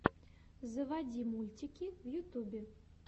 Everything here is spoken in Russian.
заводи мультики в ютубе